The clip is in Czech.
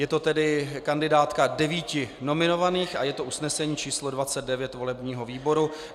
Je to tedy kandidátka devíti nominovaných a je to usnesení číslo 29 volebního výboru.